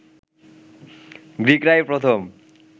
গ্রীকরাই প্রথম